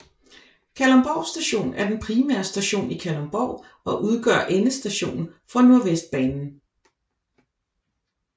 Kalundborg Station er den primære station i Kalundborg og udgør endestationen for Nordvestbanen